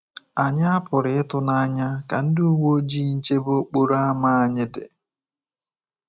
Ànyị a pụrụ ịtụ n'anya ka ndị uwe ojii nchebe okporo ámá anyị dị?